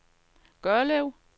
Gørlev